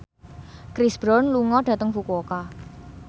Chris Brown lunga dhateng Fukuoka